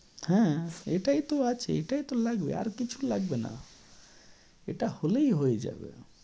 হ্যাঁ, এটাই তো আছে এটাই তো লাগবে, আর কিছু লাগবে না। এটা হলেই হয়ে যাবে।